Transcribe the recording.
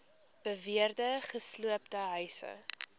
beweerde gesloopte huise